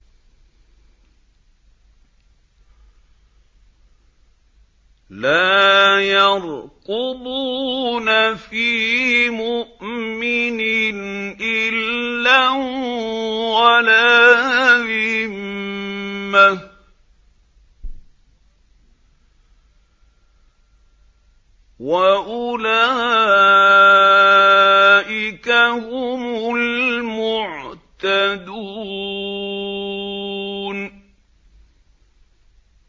لَا يَرْقُبُونَ فِي مُؤْمِنٍ إِلًّا وَلَا ذِمَّةً ۚ وَأُولَٰئِكَ هُمُ الْمُعْتَدُونَ